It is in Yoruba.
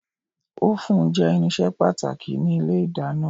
Ófùn jẹ́ irinṣẹ́ pàtàkì ní ilé ìdáná